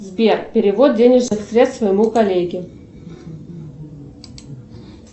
сбер перевод денежных средств моему коллеге